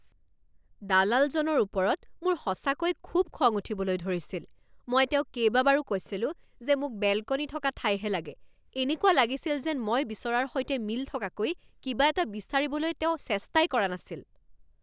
দালালজনৰ ওপৰত মোৰ সঁচাকৈ খুব খং উঠিবলৈ ধৰিছিল। মই তেওঁক কেইবাবাৰো কৈছিলোঁ যে মোক বেলকনী থকা ঠাইহে লাগে। এনেকুৱা লাগিছিল যেন মই বিচৰাৰ সৈতে মিল থকাকৈ কিবা এটা বিচাৰিবলৈ তেওঁ চেষ্টাই কৰা নাছিল।